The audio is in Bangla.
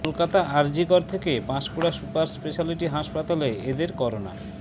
কলকাতা আরজিকর থেকে পাঁশকুড়া সুপার স্পেশালিটি হাসপাতালে এদের করোনা